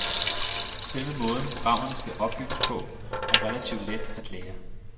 Selve måden, programmerne skal opbygges på, er relativ let at lære.